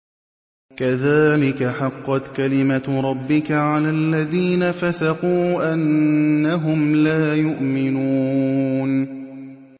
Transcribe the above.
كَذَٰلِكَ حَقَّتْ كَلِمَتُ رَبِّكَ عَلَى الَّذِينَ فَسَقُوا أَنَّهُمْ لَا يُؤْمِنُونَ